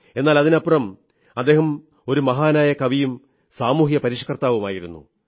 എന്നാൽ അതിനുമപ്പുറം അദ്ദേഹം ഒരു മഹാനായ കവിയും സാമൂഹ്യ പരിഷ്കർത്താവുമായിരുന്നു